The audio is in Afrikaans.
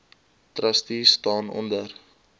trustees staan onder